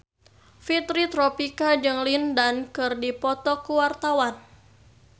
Fitri Tropika jeung Lin Dan keur dipoto ku wartawan